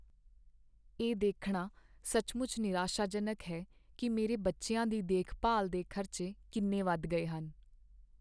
ਇਹ ਦੇਖਣਾ ਸੱਚਮੁੱਚ ਨਿਰਾਸ਼ਾਜਨਕ ਹੈ ਕਿ ਮੇਰੇ ਬੱਚਿਆਂ ਦੀ ਦੇਖਭਾਲ ਦੇ ਖ਼ਰਚੇ ਕਿੰਨੇ ਵੱਧ ਗਏ ਹਨ।